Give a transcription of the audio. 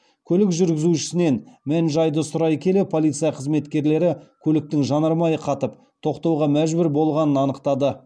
көлік жүргізушісінен мән жайды сұрай келе полиция қызметкерлері көліктің жанармайы қатып тоқтауға мәжбүр болғанын анықтады